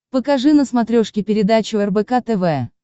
покажи на смотрешке передачу рбк тв